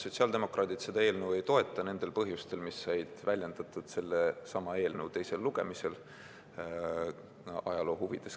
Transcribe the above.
Sotsiaaldemokraadid seda eelnõu ei toeta – nendel põhjustel, mis said väljendatud sellesama eelnõu teisel lugemisel.